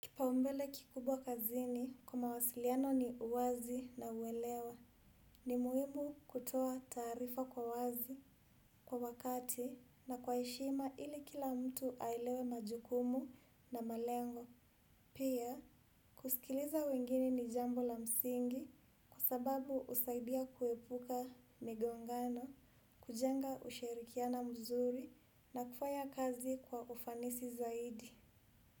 Kipaumbele kikubwa kazini kwa mawasiliano ni uwazi na uelewa. Ni muhimu kutoa taarifa kwa wazi, kwa wakati, na kwa heshima ili kila mtu aelewe majukumu na malengo. Pia, kusikiliza wengine ni jambo la msingi kwa sababu husaidia kuepuka migongano, kujenga ushirikiano mzuri na kufanya kazi kwa ufanisi zaidi.